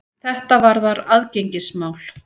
Þetta varðar aðgengismál.